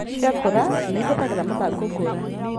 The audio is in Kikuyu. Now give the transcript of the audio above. Ciakũra, nĩ ihũthagĩra mathangũ ngũrani